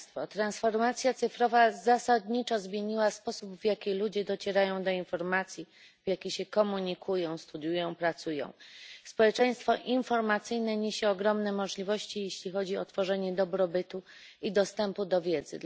Transformacja cyfrowa zasadniczo zmieniła sposób, w jaki ludzie docierają do informacji, w jaki się komunikują, studiują, pracują. Społeczeństwo informacyjne niesie ogromne możliwości, jeśli chodzi o tworzenie dobrobytu i dostępu do wiedzy.